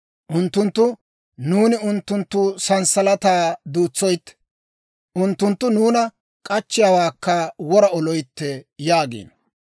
Unttunttu, «Nuuni unttunttu sanssalataa duutsoytte; unttunttu nuuna k'achchiyaawaakka wora oloytte» yaagiino.